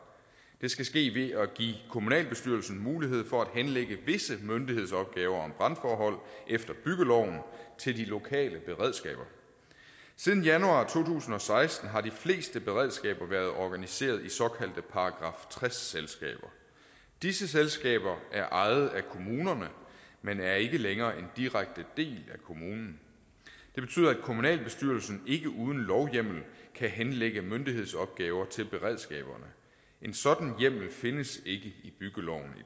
det skal ske ved at give kommunalbestyrelsen mulighed for at henlægge visse myndighedsopgaver om brandforhold efter byggeloven til de lokale beredskaber siden januar to tusind og seksten har de fleste beredskaber været organiseret i såkaldte § tres selskaber disse selskaber er ejet af kommunerne men er ikke længere en direkte del af kommunen det betyder at kommunalbestyrelsen ikke uden lovhjemmel kan henlægge myndighedsopgaver til beredskaberne en sådan hjemmel findes ikke i byggeloven